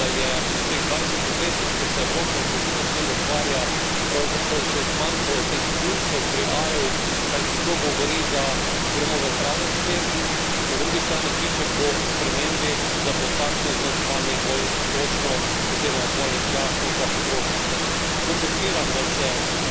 Na neki način sem prav vesel, da je v teh dvajsetih letih, ko se Evropa intenzivno s tem ukvarja, pravzaprav že zmanjkalo teh plusov pri A ju, kajti to govori, da gremo v pravo smer, in, na drugi strani, kliče po spremembi, da bo takšno označevanje bolj točno oziroma bolj jasno za potrošnike.